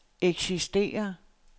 eksisterer